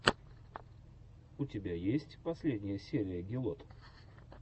у тебя есть последняя серия гелот